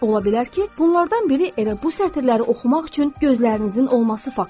Ola bilər ki, bunlardan biri elə bu sətirləri oxumaq üçün gözlərinizin olması faktıdır.